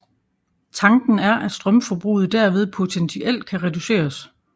Tanken er at strømforbruget derved potentielt kan reduceres